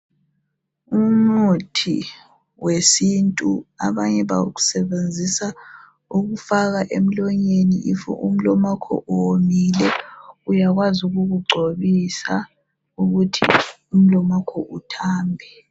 Umuthi wesintu. Abanye bawusebenzisa ukufaka emlonyeni. Nxa umlomo wakho womile, uyakwazi ukukugcobisa ukuthi umlomo wakho uthambe.